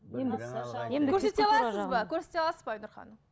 көрсете аласыз ба айнұр ханым